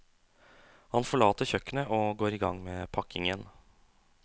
Han forlater kjøkkenet og går i gang med pakkingen.